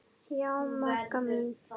Já, Magga mín.